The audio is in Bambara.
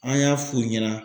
An y'a f'u ɲɛna.